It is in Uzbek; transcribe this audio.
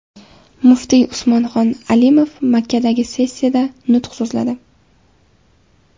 Muftiy Usmonxon Alimov Makkadagi sessiyada nutq so‘zladi.